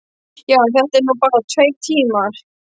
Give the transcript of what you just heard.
Já, en þetta eru nú bara tveir tímar.